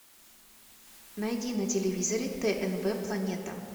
найди на телевизоре тнв планета